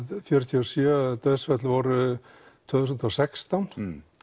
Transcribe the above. fjörutíu og sjö dauðsföll voru tvö þúsund og sextán